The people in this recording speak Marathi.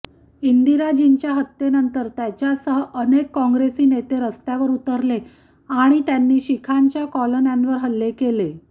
इंदिराजींच्या हत्येनंतर त्याच्यासह अनेक काँग्रेसी नेते रस्त्यावर उतरले आणि त्यांनी शिखांच्या कॉलन्यांवर हल्ले केले